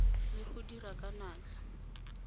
le go dira ka natla